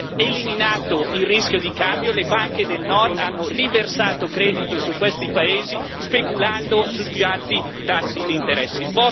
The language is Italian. Eliminato il rischio di cambio, le banche del Nord hanno riversato credito su questi paesi speculando sui più alti tassi di interesse.